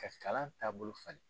Ka kalan taabolo falen.